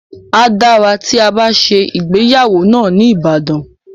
A dára tí a bá ṣe ìgbéyàwó náà ní Ibadan.